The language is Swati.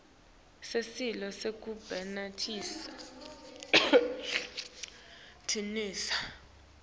sicelo sekusebentisa tinsita